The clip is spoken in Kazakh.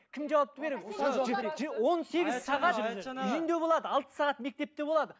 кім жауапты береді алты сағат мектепте болады